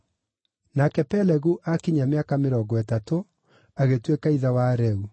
Nake Pelegu aakinyia mĩaka mĩrongo ĩtatũ, agĩtuĩka ithe wa Reu.